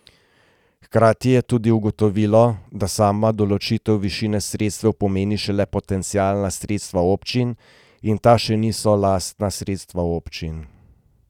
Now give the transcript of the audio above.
Hkrati je tudi ugotovilo, da sama določitev višine sredstev pomeni šele potencialna sredstva občin in ta še niso lastna sredstva občin.